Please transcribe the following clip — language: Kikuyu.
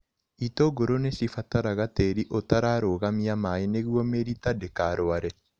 Itũngũrũ nĩcibataraga tĩri ũtararũgamia maĩ nĩguo mĩrita ndĩkarware.